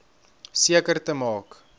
seker te maak